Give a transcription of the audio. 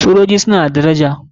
Sojoji suna da daraja.